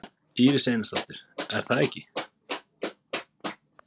Íris Einarsdóttir: Er það ekki?